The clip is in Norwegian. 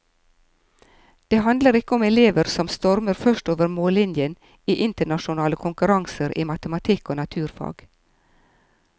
Det handler ikke om elever som stormer først over mållinjen i internasjonale konkurranser i matematikk og naturfag.